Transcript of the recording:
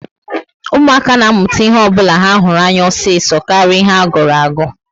Ụmụaka ná amụta ihe ọbula ha hụrụ anya osiso karịa ihe a gụrụ agu